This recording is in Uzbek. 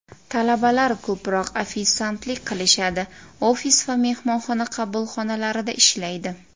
Talabalar ko‘proq ofitsiantlik qilishadi, ofis va mehmonxona qabulxonalarida ishlaydi.